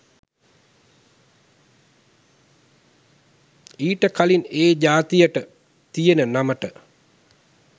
ඊට කලින් ඒ ජාතියට තියෙන නමට